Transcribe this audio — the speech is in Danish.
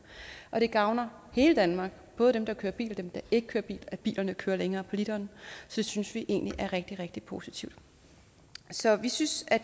det gavner hele danmark både dem der kører bil og dem der ikke kører bil at bilerne kører længere på literen så det synes vi egentlig er rigtig rigtig positivt så vi synes